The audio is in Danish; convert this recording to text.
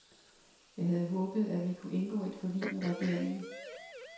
Jeg havde håbet, at vi kunne indgå et forlig med regeringen.